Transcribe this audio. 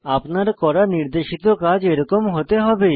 আপনার করা নির্দেশিত কাজ এরকম হতে হবে